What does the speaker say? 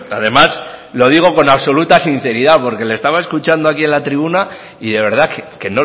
además lo digo con absoluta sinceridad porque le estaba escuchando aquí en la tribuna y de verdad que